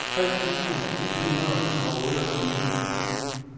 tre tusind et hundrede og otteogtyve